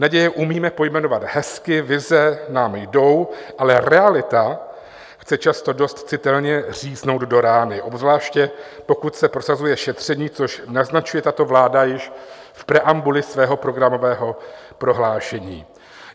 Naděje umíme pojmenovat hezky, vize nám jdou, ale realita chce často dost citelně říznout do rány, obzvláště pokud se prosazuje šetření, což naznačuje tato vláda již v preambuli svého programového prohlášení.